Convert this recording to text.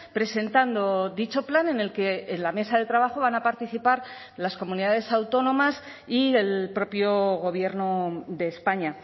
presentando dicho plan en el que en la mesa de trabajo van a participar las comunidades autónomas y el propio gobierno de españa